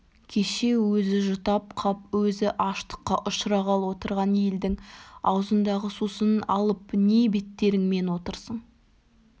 кеше өзі жұтап қап өзі аштыққа ұшырағалы отырған елдің аузындағы сусынын алып не беттеріңмен отырсың